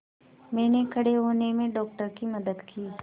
मैंने खड़े होने में डॉक्टर की मदद की